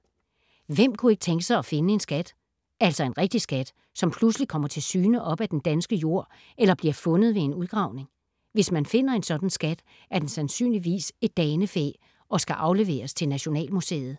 Hvem kunne ikke tænke sig at finde en skat? Altså en rigtig skat, som pludselig kommer til syne op af den danske jord eller bliver fundet ved en udgravning. Hvis man finder en sådan skat, er den sandsynligvis et danefæ og skal afleveres til Nationalmuseet.